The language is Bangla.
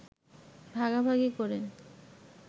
ভাগাভাগি করে